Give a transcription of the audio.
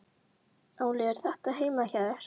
Óli: Er þetta heima hjá þér?